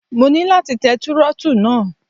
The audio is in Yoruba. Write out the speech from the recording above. Mo ní láti tẹ Túrọ́tù náà.